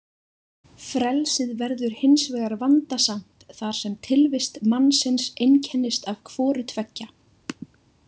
Frelsið verður hins vegar vandasamt þar sem tilvist mannsins einkennist af hvoru tveggja.